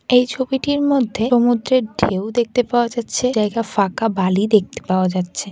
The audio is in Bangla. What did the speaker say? এই ছবিটির মধ্যে সমুদ্রের ঢেউ দেখতে পাওয়া যাচ্ছে জায়গা ফাঁকা বালি দেখতে পাওয়া যাচ্ছে ।